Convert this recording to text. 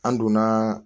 An donna